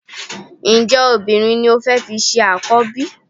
Ǹjẹ́ obìnrin ni o fẹ́ fi ṣe àkọ́bí?